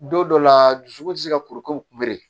Don dɔ la dusukun tɛ se ka kuru k'o